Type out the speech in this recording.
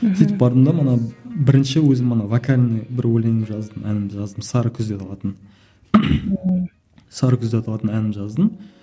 сөйтіп бардым да мана бірінші өзім ана вокальный бір өлең жаздым әнін жаздым сары күзден алатын сары күз деп аталатын әнін жаздым